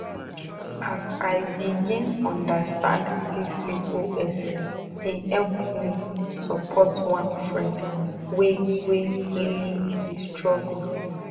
as i begin understand pcos e help me support one friend wey wey really dey struggle